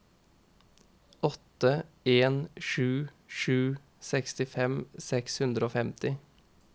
åtte en sju sju sekstifem seks hundre og femti